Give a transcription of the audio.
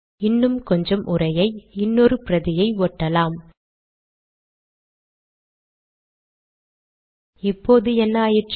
இன்னும் கொஞ்சம் உரையை இன்னொரு பிரதியை ஒட்டலாம் இப்போது என்ன ஆயிற்று